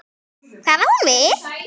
Hvað á hún við?